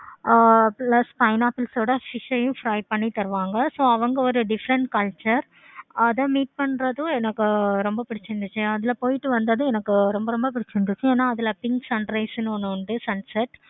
ஆஹ் plus pineapple ஓட fish ah um fry பண்ணி தருவாங்க so அவங்க ஒரு different culture அத meet பண்றதும் எனக்கு ரொம்ப பிடிச்சிருந்துச்சி. அதுல போயிட்டு வந்ததும் எனக்கு ரொம்ப ரொம்ப பிடிச்சிருந்துச்சி. ஏன அதுல pink sunrise னு ஒன்னு உண்டு pink sunset.